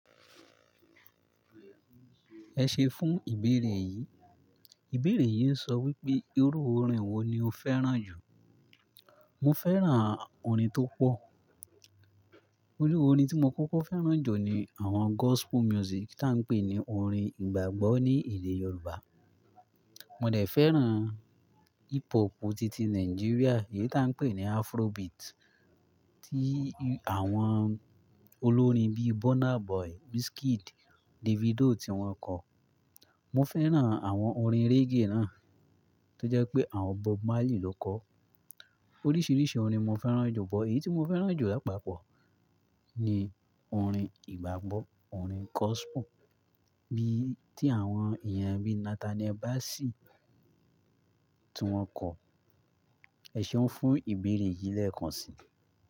Ẹ ṣe fún ìbéèrè yìí. Ìbéèrè yìí ń sọ wípé, irú orin wo ni o fẹ́ràn jù? Mo fẹ́ràn orin tó pọ̀. Írú orin tí mó kókó fẹ́ràn jù ni àwọn gospel music tí à ń pè ní orin ìgbàgbọ́ ní ilẹ̀ Yorùbá. Mó dẹ̀ fẹ́ràn hip hopu titi Nigeria èyí tí à ń pè ní Afrobeat, tí àwọn olórin bí Burna Boy, Wizkid, Davido tí wọ́n kọ. Mo fẹ́ràn àwọn orin reggae náà tó jẹ́ pé àwọn Bob Marley ló kọ. Oríṣiríṣi orin mo fẹ́ràn jù, but èyí tí mo fẹ́ràn jù lápapọ̀ ní orín ìgbàgbọ́, orin gospel bí i tí àwọn èèyàn bíi Nathaniel Bassey tí wọ́n kọ. Ẹ ṣeun fún ìbéèrè yìí lẹ́ẹ̀kan si.